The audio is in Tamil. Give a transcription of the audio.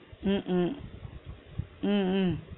உம் உம் உம் உம்